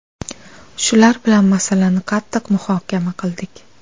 Shular bilan masalani qattiq muhokama qildik.